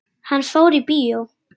Hann fór í bíó.